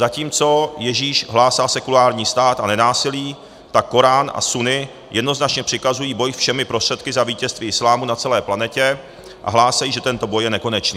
Zatímco Ježíš hlásal sekulární stát a nenásilí, tak korán a sunni jednoznačně přikazují boj všemi prostředky za vítězství islámu na celé planetě a hlásají, že tento boj je nekonečný.